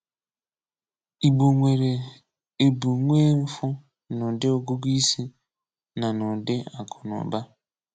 Ìgbò nwere èbù nwee mfụ n’ụ̀dị́ ọ̀gụ̀gụ̀ isi na n’ụ̀dị́ akụnàụ̀bà.